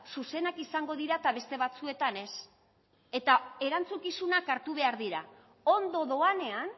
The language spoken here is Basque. zuzenak izango dira eta beste batzuetan ez eta erantzukizunak hartu behar dira ondo doanean